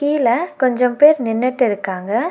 கீழ கொஞ்சம் பேர் நின்னுட்டு இருக்காங்க.